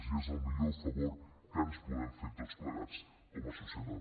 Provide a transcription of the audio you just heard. i és el millor favor que ens podem fer tots plegats com a societat